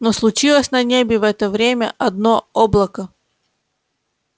но случилось на небе в это время одно облако